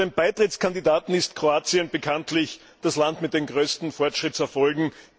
Unter den Beitrittskandidaten ist Kroatien bekanntlich das Land mit den größten Fortschrittserfolgen.